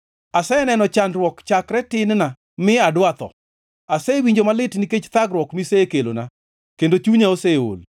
Aseneno chandruok chakre tin-na mi adwa tho; asewinjo malit nikech thagruok misekelona, kendo chunya oseol.